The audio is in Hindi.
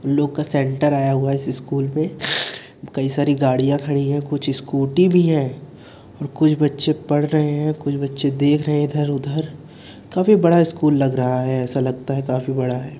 लोग का सेंटर आया हुआ है इस स्कूल पे। इसे कई सारी गाड़ियां खड़ी है कुछ स्कूटी भी है। कुछ बच्चे पढ़ रहे हैं कुछ बच्चे देख रहे हैं इधर उधर। काफी बड़ा स्कूल लग रहा है। ऐसा लगता है काफी बड़ा है।